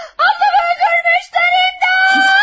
Ablam! Bəni dövmüşdürüm də!